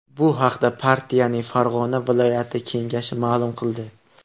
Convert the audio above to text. Bu haqda partiyaning Farg‘ona viloyati Kengashi ma’lum qildi .